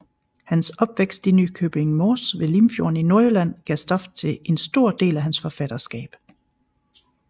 Hans opvækst i Nykøbing Mors ved Limfjorden i Nordjylland gav stof til en stor del af hans forfatterskab